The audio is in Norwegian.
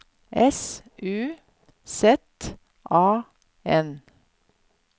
S U Z A N